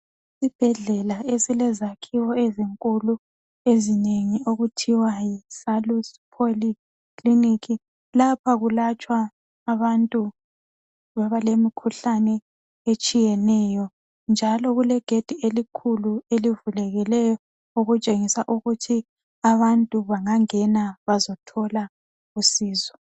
Isibhedlela esilezakhiwo ezinkulu ezinengi okuthiwa yiSalus Poly Clinic. Lapha kulatshwa abantu abalemikhuhlane etshiyeneyo. Njalo kulegedi elikhulu elivulekileyo okutshengisa ukuthi abantu bangangena bazothola usizo.